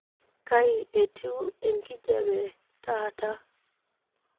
kai etiu enkijape taata